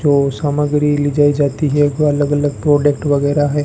जो सामग्री ली जाए जाती है को अलग-अलग प्रोडक्ट वगैरह है।